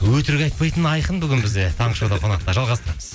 өтірік айтпайтын айқын бүгін бізде таңғы шоуда қонақта жалғастырамыз